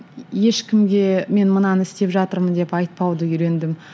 ешкімге мен мынаны істеп жатырмын деп айтпауды үйрендім